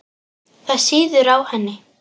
Það sýður á henni.